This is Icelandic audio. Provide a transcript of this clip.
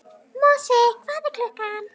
Mosi, hvað er klukkan?